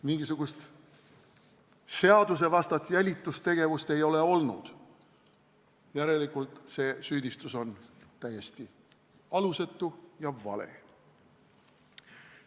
Mingisugust seadusvastast jälitustegevust ei ole olnud, järelikult on see süüdistus täiesti alusetu ja vale.